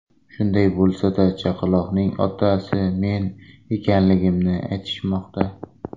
Shunday bo‘lsa-da, chaqaloqning otasi men ekanligimni aytishmoqda.